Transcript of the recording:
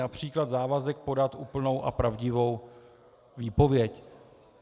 Například závazek podat úplnou a pravdivou výpověď.